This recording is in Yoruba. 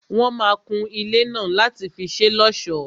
Wọ́n máa kun ilé náà láti fi ṣé l'ọ́sọ̀.